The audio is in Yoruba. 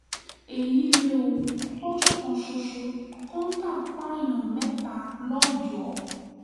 èyí lé o lọ́jọ́ kan ṣoṣo kọ́ńtà pààyàn mẹ́ta lọ́yọ́ọ́